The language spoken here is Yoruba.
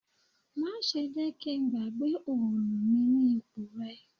Má ṣe jẹ́ kí n gbàgbé òòlù mi ní ipò rẹ